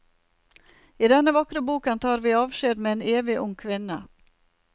I denne vakre boken tar vi avskjed med en evig ung kvinne.